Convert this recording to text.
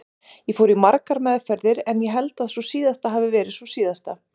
Ég fór í margar meðferðir en ég held að sú síðasta hafi verið sú síðasta.